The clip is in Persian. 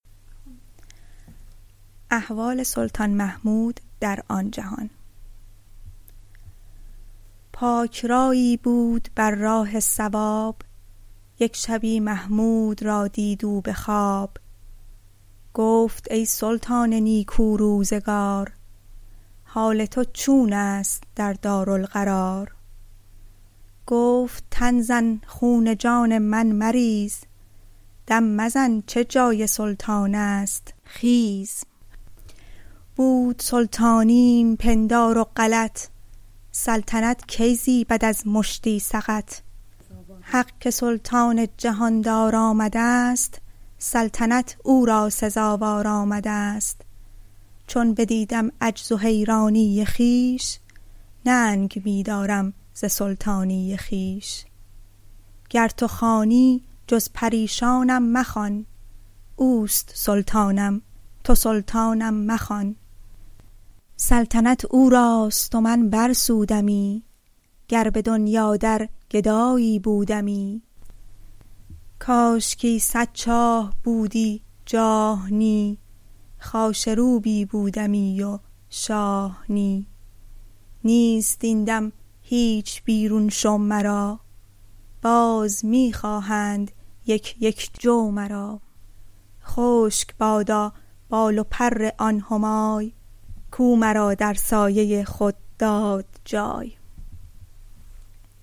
پاک رأیی بود بر راه صواب یک شبی محمود را دید او به خواب گفت ای سلطان نیکو روزگار حال تو چون است در دارالقرار گفت تن زن خون جان من مریز دم مزن چه جای سلطان است خیز بود سلطانیم پندار و غلط سلطنت کی زیبد از مشتی سقط حق که سلطان جهان دار آمدست سلطنت او را سزاوار آمدست چون بدیدم عجز و حیرانی خویش ننگ می دارم ز سلطانی خویش گر تو خوانی جز پریشانم مخوان اوست سلطانم تو سلطانم مخوان سلطنت او راست و من بر سودمی گر به دنیا در گدایی بودمی کاشکی صد چاه بودی جاه نی خاشه روبی بودمی و شاه نی نیست این دم هیچ بیرون شو مرا باز می خواهند یک یک جو مرا خشک بادا بال و پر آن همای کو مرا در سایه خود داد جای